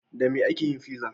Da me ake yin fizza?